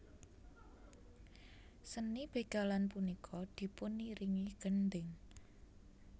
Seni bégalan punika dipuniringi gendhing